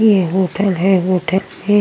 ये होटल है| होटल में --